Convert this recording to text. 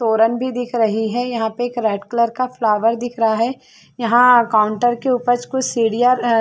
तोरन भी दिख रही है यहाँ पर एक रेड कलर का फ्लॉवर दिख रहा है यहाँ काउंटर के ऊपर कुछ सीढ़िया--